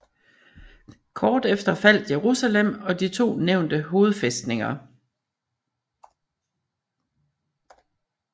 Kort efter faldt Jerusalem og de to nævnte hovedfæstninger